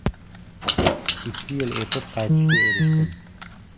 Ikki yil o‘tib qaytishga erishdim.